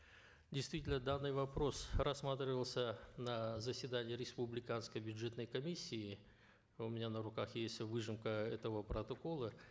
действительно данный вопрос рассматривался на заседании республиканской бюджетной комиссии у меня на руках есть выжимка этого протокола